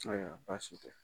Ayiwa basi tɛ